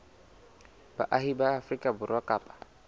baahi ba afrika borwa kapa